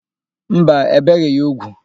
Mba, ebeghị ya úgwù.